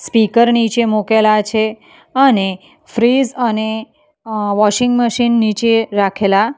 speaker નીચે મુકેલા છે અને ફ્રીઝ અને વોશિંગ મશીન નીચે રાખેલા --